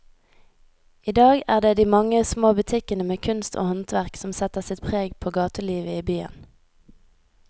I dag er det de mange små butikkene med kunst og håndverk som setter sitt preg på gatelivet i byen.